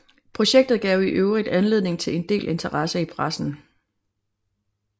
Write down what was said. Projektet gav i øvrigt anledning til en del interesse i pressen